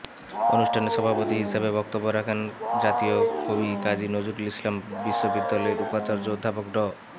অনুষ্ঠানে সভাপতি হিসেবে বক্তব্য রাখেন জাতীয় কবি কাজী নজরুল ইসলাম বিশ্ববিদ্যালয়ের উপাচার্য অধ্যাপক ড